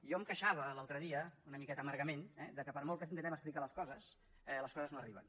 jo em queixava l’altre dia una miqueta amargament que per molt que intentem explicar les coses les coses no arriben